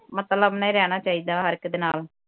ਮਤਲਬ ਨਾਲ ਹੀ ਰਹਿਣਾ ਚਾਹੀਦਾ ਹੈ ਹਰ ਇੱਕ ਦੇ ਨਾਲ